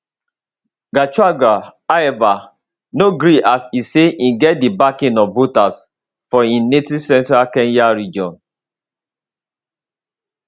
gachagua however no gree as e say im get di backing of voters for im native central kenya region